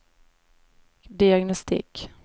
diagnostik